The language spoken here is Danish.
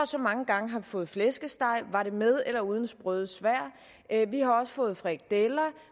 så mange gange har fået flæskesteg og om var med eller uden sprøde svær vi har også fået frikadeller